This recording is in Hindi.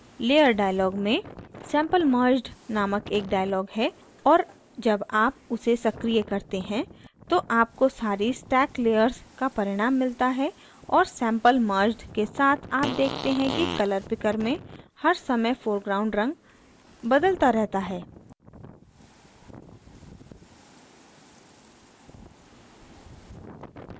layers dialog में sample merged नामक एक dialog है और जब आप उसे सक्रिय करते हैं तो आपको सारी स्टैक layers का परिणाम मिलता है और sample merged के साथ आप देखते हैं कि color picker में हर समय foreground रंग बदलता रहता है